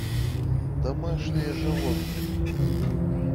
домашние животные